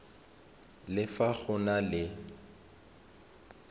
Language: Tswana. le fa go na le